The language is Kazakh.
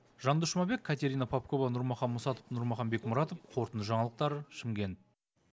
жандос жұмабек катерина попкова нұрмахан мусатов нұрмахан бекмұратов қорытынды жаңалықтар шымкент